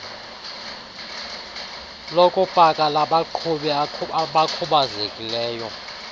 lokupaka labaqhubi abakhubazekileyo